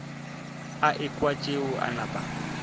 a ekwa tšeo a napa